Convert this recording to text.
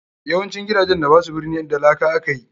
YAwancin gidajen da basu birni da laka akayi.